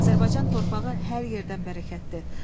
Azərbaycan torpağı hər yerdən bərəkətlidir.